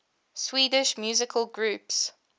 swedish musical groups